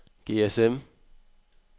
GSM